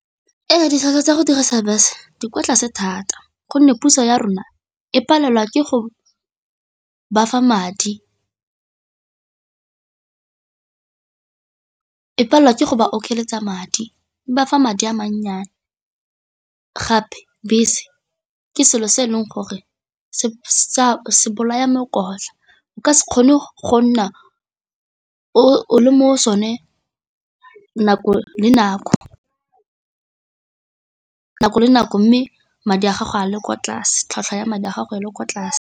Ee, ditlhwatlhwa tsa go dirisa buse di kwa tlase thata gonne puso ya rona e palelwa ke go bafa madi, e palelwa ke go ba okeletsa madi, e bafa madi a mannyane gape bese ke selo se e leng gore se bolaya o ka se kgone go nna o le mo sone nako le nako mme madi a gago a le kwa tlase, tlhwatlhwa ya madi a gago a le kwa tlase.